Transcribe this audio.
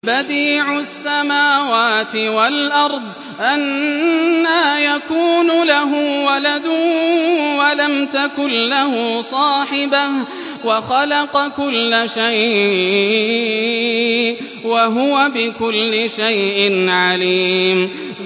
بَدِيعُ السَّمَاوَاتِ وَالْأَرْضِ ۖ أَنَّىٰ يَكُونُ لَهُ وَلَدٌ وَلَمْ تَكُن لَّهُ صَاحِبَةٌ ۖ وَخَلَقَ كُلَّ شَيْءٍ ۖ وَهُوَ بِكُلِّ شَيْءٍ عَلِيمٌ